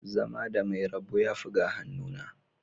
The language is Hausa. Zama da mai rabo yafi ga hannuna